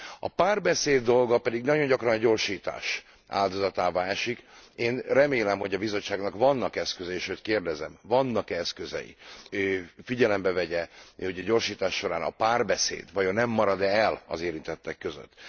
A párbeszéd dolga pedig nagyon gyakran a gyorsítás áldozatává esik, én remélem, hogy a Bizottságnak vannak eszközei, sőt, kérdezem vannak e eszközei, hogy figyelembe vegye, hogy a gyorsítás során a párbeszéd vajon nem marad e el az érintettek között?